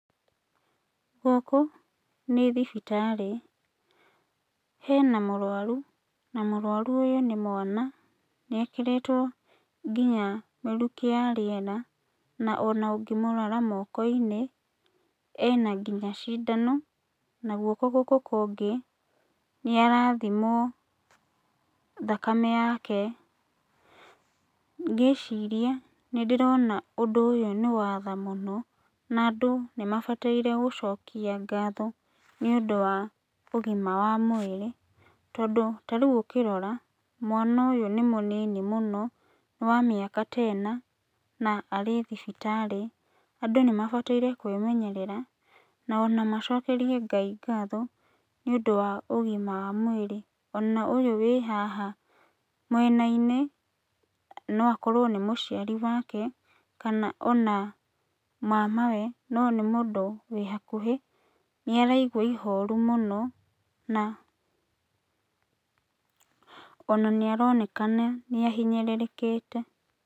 Gũkũ nĩ thibitarĩ, hena mũrwaru, na mũrwaru ũyũ nĩ mwana, nĩekĩrĩtwo nginya mĩrukĩ ya rĩera, na ona ũngĩmũrora mokoinĩ, ena nginya cindano, na guoko gũkũ kũngĩ, nĩarathimwo thakame yake. Ngĩciria nĩndĩrona ũndũ ũyũ nĩwatha mũno, na andũ nĩmabataire gũcokia ngatho, nĩũndũ wa ũgima wa mwĩrĩ, tondũ tarĩu ũkĩrora, mwana ũyũ nĩmũnini mũno, nĩ wa mĩaka ta ĩna, na arĩ thibitarĩ. Andũ nĩmabataire kwĩmenyerera, na ona macokerie Ngai ngatho, nĩũndũ wa ũgima wa mwĩrĩ, ona ũyũ wĩ haha mwenainĩ, no akorwo nĩ mũciari wake, kana ona mamawe, no nĩ mũndũ wĩ hakuhi, nĩaragua ihoru mũno, na ona nĩaronekana nĩahinyĩrĩrĩkĩte.